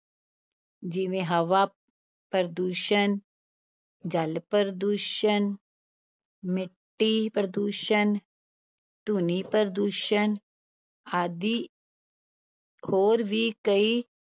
ਜਿਵੇਂ ਹਵਾ ਪ੍ਰਦੂਸ਼ਣ, ਜਲ ਪ੍ਰਦੂਸ਼ਣ, ਮਿੱਟੀ ਪ੍ਰਦੂਸ਼ਣ, ਧੁਨੀ ਪ੍ਰਦੂਸ਼ਣ ਆਦਿ ਹੋਰ ਵੀ ਕਈ